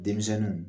Denmisɛnninw